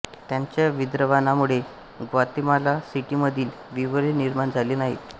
त्यांच्या विद्रावणामुळे ग्वातेमाला सिटीमधील विवरे निर्माण झाली नाहीत